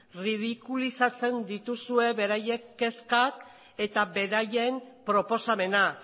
erridikulizatzen dituzue beraien kezkak eta beraien proposamena